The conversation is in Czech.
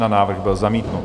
Návrh byl zamítnut.